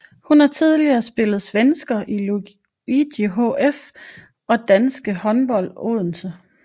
Hun har tidligere spillet i svensker Lugi HF og danske Odense Håndbold